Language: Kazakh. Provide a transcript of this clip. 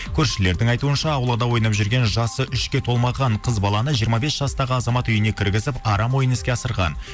көршілердің айтуынша аулада ойнап жүрген жасы үшке толмаған қыз баланы жиырма бес жастағы азамат үйіне кіргізіп арам ойын іске асырған